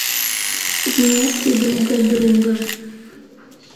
в метре друг от друга